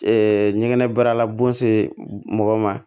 ɲɛgɛnɛ baarala bon se mɔgɔ ma